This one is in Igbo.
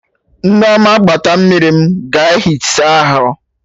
Nneoma gbata mmiri m ga ehi saa ahụ